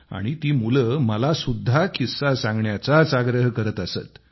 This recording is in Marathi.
आणि ती मुले मला सुद्धा किस्सा सांगण्याचाच आग्रह करत असत